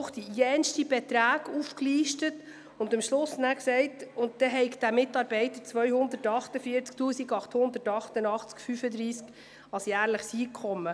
Ruchti listete anschliessend diverse Beträge auf und sagte schliesslich, dieser Mitarbeiter hätte 248 888,35 Franken Jahreseinkommen.